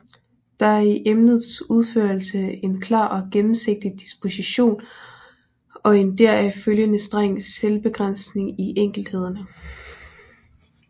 Der er i emnets udførelse en klar og gennemsigtig disposition og en deraf følgende streng selvbegrænsning i enkelthederne